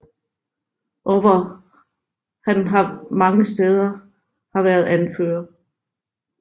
Og hvor han har mange steder har været anfører